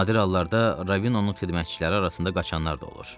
Nadir hallarda Ravinonun xidmətçiləri arasında qaçanlar da olur.